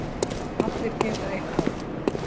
Allir geta eitthvað